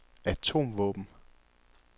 atomvåben